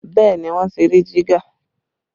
Bẹẹ ni, wọ́n ti rí jígà